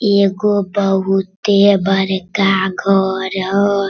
एगो बहुते बड़का घर ह --